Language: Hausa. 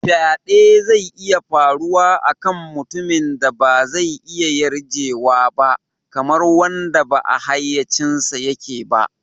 Faɗe zai iya faruwa a kan mutumin da ba zai iya yarjewa ba, kamar wanda ba a hayyacinsa yake ba.